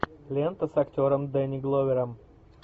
лента с актером дэнни гловером